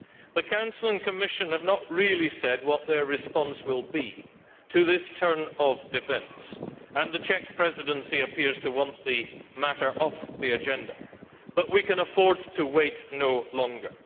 The Council and the Commission have not really said what their response will be to this turn of events, and the Czech Presidency appears to want the matter off the agenda, but we can afford to wait no longer.